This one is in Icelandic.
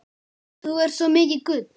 Þú ert svo mikið gull.